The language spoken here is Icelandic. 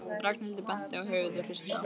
Ragnhildur benti á höfuðið og hristi það.